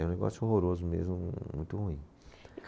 É um negócio horroroso mesmo, muito ruim.